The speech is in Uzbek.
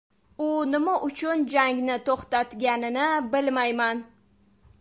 U nima uchun jangni to‘xtatganini bilmayman.